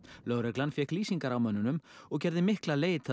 lögreglan fékk lýsingar á mönnunum og gerði mikla leit